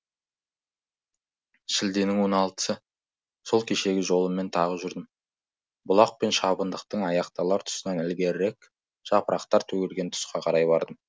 шілденің он алтысы сол кешегі жолыммен тағы жүрдім бұлақ пен шабындықтың аяқталар тұсынан ілгерірек жапырақтар төгілген тұсқа қарай бардым